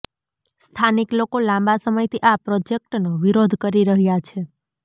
સ્થાનિક લોકો લાંબા સમયથી આ પ્રોજેક્ટનો વિરોધ કરી રહ્યા છે